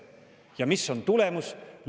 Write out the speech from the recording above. " Ja mis on tulemus?